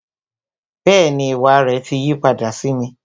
Bẹẹni, ìwà rẹ ti yí padà sí mi